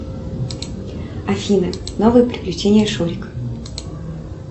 афина новые приключения шурика